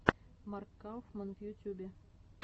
марк кауфман в ютюбе